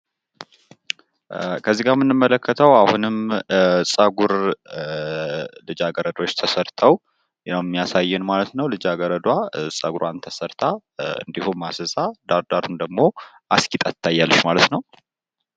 ከዚጋ ምንመለከተው አሁንም ፀጉር ልጃገረዶች ተሰርቶ እንዲሁም እንዲሁም ዳር ዳሩን አስጌጣ ትታያለች ማለት ነው።